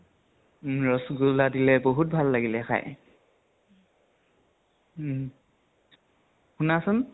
উম । ৰসগোল্লা দিলে, বহুত ভাল লাগিলে খাই । উম । শুনাছোন ?